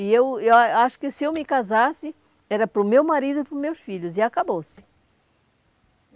E eu a acho que se eu me casasse, era para o meu marido e para os meus filhos, e acabou-se.